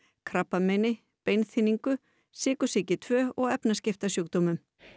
krabbameini beinþynningu sykursýki tvö og efnaskiptasjúkdómum